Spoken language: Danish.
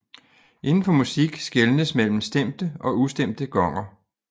Inden for musik skelnes mellem stemte og ustemte gonger